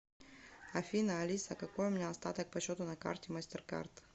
афина алиса какой у меня остаток по счету на карте мастеркард